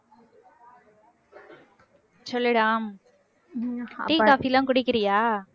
சொல்லுடா tea, coffee லாம் குடிக்கிறியா